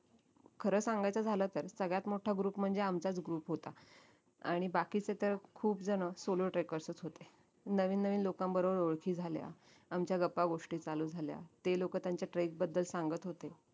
खर सांगायचं झालं तर सगळ्यात मोटा group म्हणजे आमचाच group होता आणि बाकीचे तर खूप जण solo trackers च होते नवीन नवीन लोकांबरोबर ओळखी झाल्या आमच्या गपागोष्टी चालू झाल्या ते लोक त्यांचा trek बद्दल सांगत होते